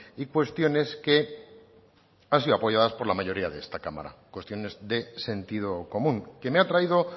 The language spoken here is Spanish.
y cuestiones que han sido apoyadas por la mayoría de esta cámara cuestiones de sentido común que me ha traído